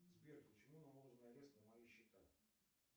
сбер почему наложен арест на мои счета